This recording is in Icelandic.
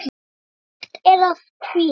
Myrkt er af kvíða.